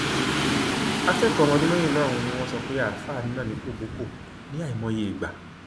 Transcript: akẹkọọ ọmọ ọdún mẹrìnlá ọhún ni wọn sọ pé àáfàá nà ní kọbọkọ ní àìmọye ìgbà